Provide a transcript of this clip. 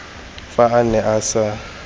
fa a ne a sa